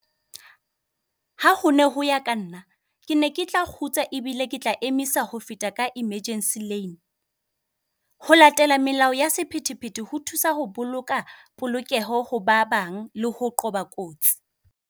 Ha hone ho ya ka nna, ke ne ke tla kgutsa ebile ke tla emisa ho feta ka emergency lane. Ho latela melao ya sephethephethe ho thusa ho boloka polokeho ho ba bang le ho qoba kotsi.